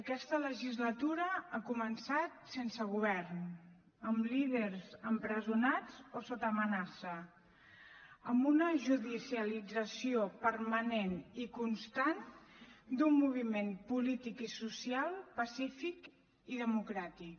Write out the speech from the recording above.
aquesta legislatura ha començat sense govern amb líders empresonats o sota amenaça amb una judicialització permanent i constant d’un moviment polític i social pacífic i democràtic